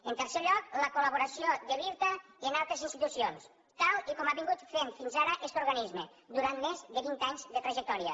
en tercer lloc la col·laboració de l’irta amb altres institucions tal i com ha vingut fent fins ara este organisme durant més de vint anys de trajectòria